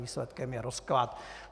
Výsledkem je rozklad.